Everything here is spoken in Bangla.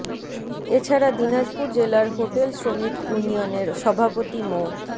এ ছাড়া দিনাজপুর জেলার হোটেল শ্রমিক ইউনিয়নের সভাপতি মো